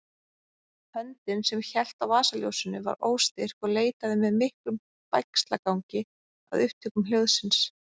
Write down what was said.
Höndin sem hélt á vasaljósinu var óstyrk og leitaði með miklum bægslagangi að upptökum hljóðsins.